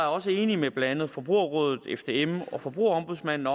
også enig med blandt andet forbrugerrådet fdm og forbrugerombudsmanden